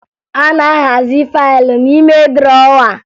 A na-ahazi faaịlụ n'ime drọwa